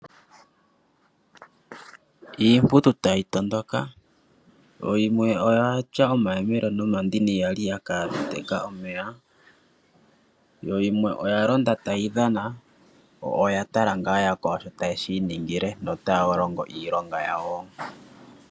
Iipuntu tayi tondoka, yo yimwe oya tya omayemele nomandini ya li ya ka teka omeya. Yo yimwe oya londa tayi dhana, yo oya tala ngaa yakwawo sho taye shi iningile notaya longo iilonga yawo.